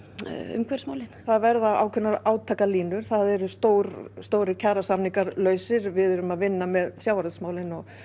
umhverfismálin það verða ákveðnar átakalínur það eru stórir stórir kjarasamningar lausir við erum að vinna með sjávarútvegs málin og